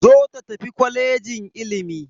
Zo ta tafi kwalejin ilimi!